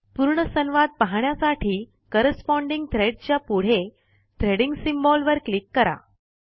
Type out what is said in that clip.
पूर्ण संवाद पाहण्यासाठी कॉरेस्पाँडिंग थ्रेड च्या पुढे थ्रेडिंग सिम्बॉल वर क्लीक करा